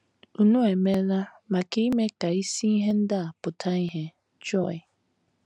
Unu emeela maka ime ka isi ihe ndị a pụta ìhè Joy.